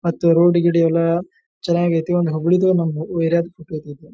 ಮತ್ತು ರೋಡ್ ಗಿಡ ಎಲ್ಲಾ ಚನ್ನಾಗ್ ಐತಿ ಒಂದ್ ಹಗುರದೊ .]